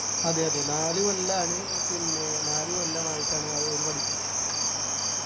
അതെ അതെ നാല് കൊല്ലാണ് പിന്നെ നാല് കൊല്ലമായിട്ടാണ് അവര് പഠിക്കുന്നത്